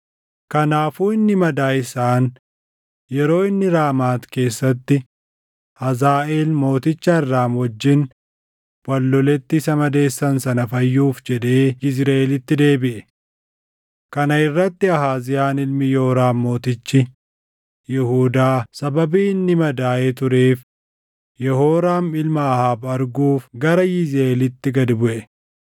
kanaafuu inni madaa isaan yeroo inni Raamaat keessatti Hazaaʼeel mooticha Arraam wajjin wal loletti isa madeessan sana fayyuuf jedhee Yizriʼeelitti deebiʼe. Kana irratti Ahaaziyaan ilmi Yooraam mootichi Yihuudaa sababii inni madaaʼee tureef Yehooraam ilma Ahaab arguuf gara Yizriʼeelitti gad buʼe.